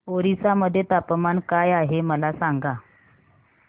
ओरिसा मध्ये तापमान काय आहे मला सांगा